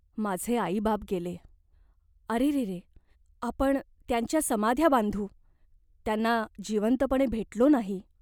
माझे आईबाप गेले. "अरेरे !" "आपण त्यांच्या समाध्या बांधू." "त्यांना जिवंतपणी भेटलो नाही.